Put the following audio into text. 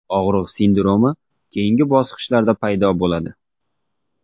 Og‘riq sindromi keyingi bosqichlarda paydo bo‘ladi.